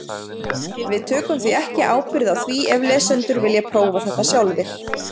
Við tökum því ekki ábyrgð á því ef lesendur vilja prófa þetta sjálfir.